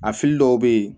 A fili dɔw bɛ yen